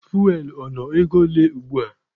Fuwel ọ nọ ego ole ugbua?